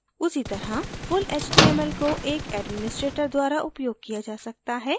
उसीतरह full html को एक administrator द्वारा उपयोग किया जा सकता है